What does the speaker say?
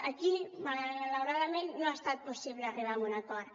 aquí malauradament no ha estat possible arribar a un acord